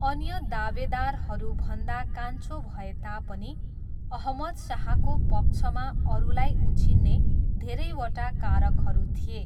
अन्य दावेदारहरू भन्दा कान्छो भए तापनि, अहमद शाहको पक्षमा अरूलाई उछिन्ने धेरैवटा कारकहरू थिए।